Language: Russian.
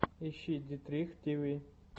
ищи дитрих тв